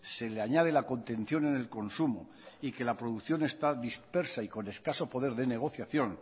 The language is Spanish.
se le añade la contención en el consumo y que la producción está dispersa y con escaso poder de negociación